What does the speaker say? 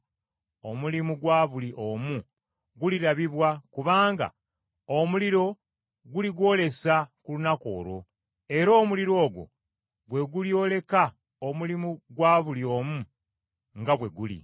omulimu gwa buli omu gulirabibwa, kubanga omuliro guligwolesa ku lunaku olwo, era omuliro ogwo gwe gulyoreka omulimu gwa buli omu nga bwe guli.